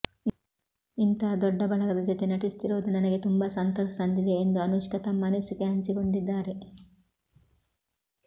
ಇಂಥ ದೊಡ್ಡ ಬಳಗದ ಜೊತೆ ನಟಿಸುತ್ತಿರೋದು ನನಗೆ ತುಂಬಾ ಸಂತಸ ತಂದಿದೆ ಎಂದು ಅನುಷ್ಕಾ ತಮ್ಮ ಅನಿಸಿಕೆ ಹಂಚಿಕೊಂಡಿದ್ದಾರೆ